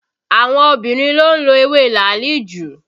Àwọn obìnrin ló ń lo ewé làálì jù